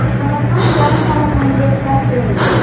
Samarqand yarim marafoniga start berildi.